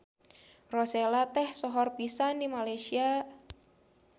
Rosella teh sohor pisan di Malaysia.